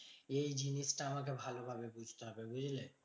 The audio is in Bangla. এই জিনিসটা আমাকে ভালো ভাবে বুঝতে হবে, বুঝলে?